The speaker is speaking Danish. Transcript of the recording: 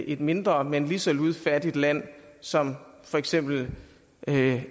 en mindre men lige så ludfattigt land som for eksempel